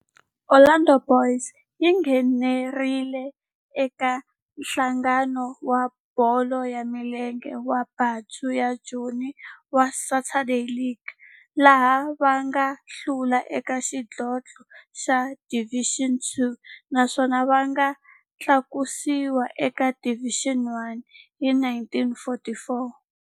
Orlando Boys yi nghenelerile eka Nhlangano wa Bolo ya Milenge wa Bantu wa Joni wa Saturday League, laha va nga hlula eka xidlodlo xa Division Two naswona va nga tlakusiwa eka Division One hi 1944.